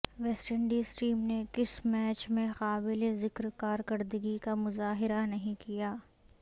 waste Indies team نے کسی match میں قابل ذکر کارکردگی کا مظاہرہ نہیں کیا